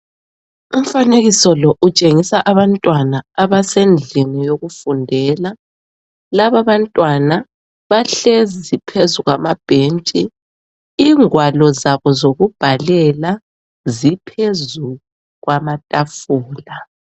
Umfanekiso lo utshengisa abantwana abasendlini yokufundela . Lababantwana bahlezi phezu kwamabhentshi ingwalo zabo zokubhalela ziphezu kwamatafula